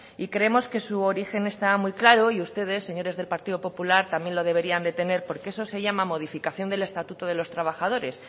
y creemos que su origen está muy claro y ustedes señores del partido popular también lo deberían de tener porque eso se llama modificación del estatuto de los trabajadores